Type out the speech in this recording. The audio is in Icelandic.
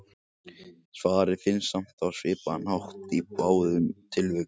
Svarið finnst samt á svipaðan hátt í báðum tilvikum.